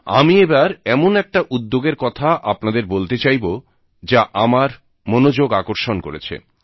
আমি এবার এমন একটা উদ্যোগের কথা আপনাদের বলতে চাইব যা আমার মনোযোগ আকর্ষণ করেছে